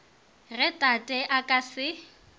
ge tate a ka se